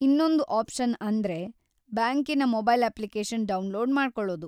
ಇನ್ನೊಂದು ಆಪ್ಶನ್‌ ಅಂದ್ರೆ ಬ್ಯಾಂಕಿನ ಮೊಬೈಲ್‌ ಅಪ್ಲಿಕೇಶನ್‌ ಡೌನ್‌ಲೋಡ್‌ ಮಾಡ್ಕೊಳ್ಳೋದು.